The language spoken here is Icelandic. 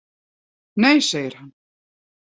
Nei segir hann.